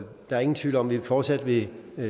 der er ingen tvivl om at vi fortsat vil